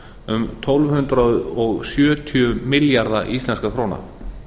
um tólf hundruð sjötíu milljarða íslenskra króna